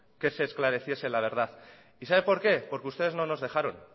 que se esclareciese la verdad y sabe por qué porque ustedes no nos dejaron